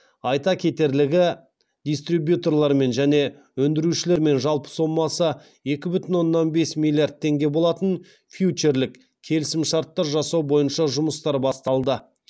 айта кетерлігі дистрибьюторлармен және өндірушілермен жалпы сомасыекі бүтін оннан бес миллиард теңге болатын фьючерлік келісімшарттар жасау бойынша жұмыстар басталды